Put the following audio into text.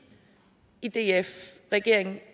i df og i regeringen